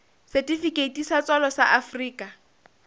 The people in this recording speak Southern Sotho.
setifikeiti sa tswalo sa afrika